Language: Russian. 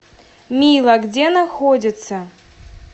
мила где находится